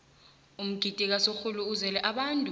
umgidi kasorhulu uzele abantu